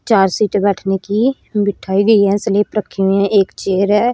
चार सीट बैठने की बिठाई गई है एक स्लिप रखी हुई है एक चेयर है।